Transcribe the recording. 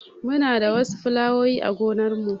Muna da wasu filawowi a gonar mu